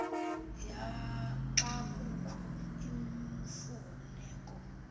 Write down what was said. xa kukho imfuneko